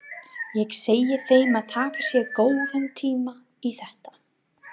Ég segi þeim að taka sér góðan tíma í þetta.